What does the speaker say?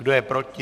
Kdo je proti?